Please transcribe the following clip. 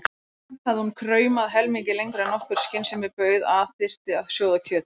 Samt hafði hún kraumað helmingi lengur en nokkur skynsemi bauð að þyrfti að sjóða kjöt.